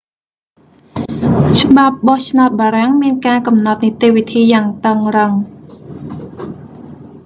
ច្បាប់បោះឆ្នោតបារាំងមានការកំណត់និតិវិធីយ៉ាងតឹងរឹង